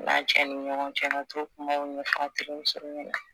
N'a cɛ ni ɲɔgɔn cɛ ka t'o kuma ɲɛfɔ a terimuso ɲɛnɛ